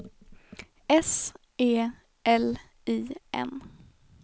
S E L I N